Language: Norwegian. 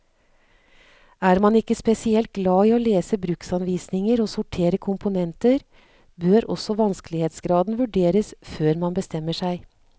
Er man ikke spesielt glad i å lese bruksanvisninger og sortere komponenter, bør også vanskelighetsgraden vurderes før man bestemmer seg.